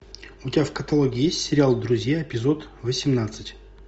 у тебя в каталоге есть сериал друзья эпизод восемнадцать